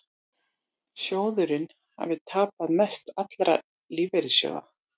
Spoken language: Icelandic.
Sjóðurinn hafi tapað mest allra lífeyrissjóða